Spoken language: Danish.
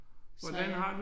Så jeg